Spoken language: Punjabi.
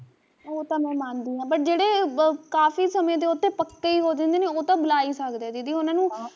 ਉਹ ਤਾਂ ਮੈਂ ਮੰਨਦੀ ਆ but ਜਿਹੜੇ ਕਾਫੀ ਸਮੇ ਦੇ ਓਧਰ ਪੱਕੇ ਈ ਹੋ ਜਾਂਦੇ ਉਹ ਤਾਂ ਬਲਾਂ ਈ ਸਕਦੇ ਆ ਦੀਦੀ ਉਹਨਾਂ ਨੂੰ